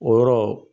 O yɔrɔ